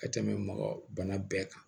Ka tɛmɛ mɔgɔ bana bɛɛ kan